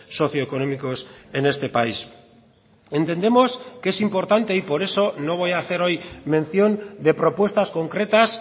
socioeconómicos en este país entendemos que es importante y por eso no voy a hacer hoy mención de propuestas concretas